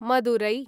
Madurai